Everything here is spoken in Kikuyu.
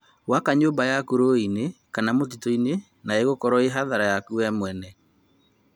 Waka nyũmba yaku rũriĩ-inĩ kana mũtitũ-inĩ na ĩgũkorwo ĩ hathara yaku we mwenyewe